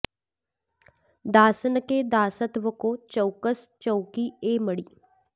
दासन के दासत्व को चौकस चौकी ए मड़ी